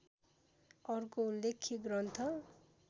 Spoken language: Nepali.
अर्को उल्लेख्य ग्रन्थ